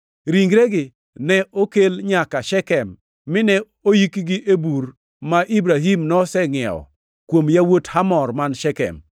Ringregi ne okel nyaka Shekem mine oyikgi e bur ma Ibrahim nosengʼiewo kuom yawuot Hamor man Shekem.